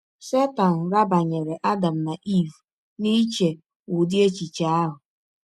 Setan rabanyere Adam na Eve n’iche ụdị echiche ahụ.